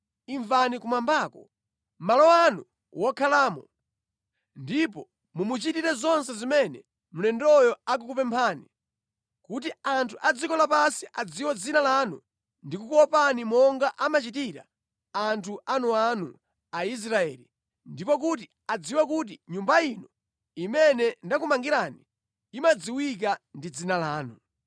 pamenepo imvani kumwambako, malo anu okhalamo, ndipo muchite zonse zimene mlendoyo akukupemphani, kotero kuti anthu onse a dziko lapansi adziwe dzina lanu ndi kukuopani monga amachitira anthu anu Aisraeli, ndipo adziwe kuti Nyumba ino imene ndakumangirani imadziwika ndi Dzina lanu.